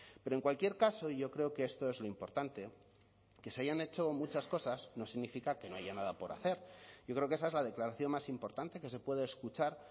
pero en cualquier caso yo creo que esto es lo importante que se hayan hecho muchas cosas no significa que no haya nada por hacer yo creo que esa es la declaración más importante que se puede escuchar